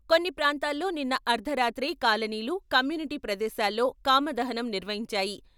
కొన్ని ప్రాంతాల్లో నిన్న అర్ధరాత్రే కాలనీలు, కమ్యూనిటీ ప్రదేశాల్లో కామదహనం నిర్వహించాయి.